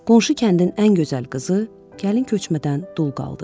Qonşu kəndin ən gözəl qızı gəlin köçmədən dul qaldı.